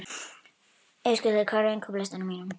Ásgautur, hvað er á innkaupalistanum mínum?